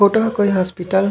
photo ह कोई hospital --